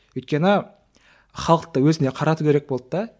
өйткені халықты өзіне қарату керек болды да